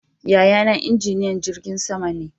Yaya na injiniyan jirgin sama ne